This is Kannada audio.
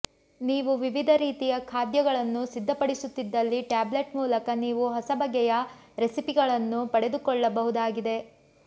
ನೀವು ವಿವಿಧ ರೀತಿಯ ಖಾದ್ಯಗಳನ್ನು ಸಿದ್ಧ ಪಡಿಸುತ್ತಿದ್ದಲ್ಲಿ ಟ್ಯಾಬ್ಲೆಟ್ನ ಮೂಲಕ ನೀವು ಹೊಸ ಬಗೆಯ ರೆಸಿಪಿಗಳನ್ನು ಪಡೆದುಕೋಳ್ಳ ಬಹುದಾಗಿದೆ